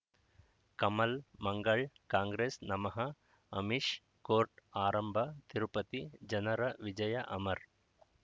ಕಮಲ್ ಮಂಗಳ್ ಕಾಂಗ್ರೆಸ್ ನಮಃ ಅಮಿಷ್ ಕೋರ್ಟ್ ಆರಂಭ ತಿರುಪತಿ ಜನರ ವಿಜಯ ಅಮರ್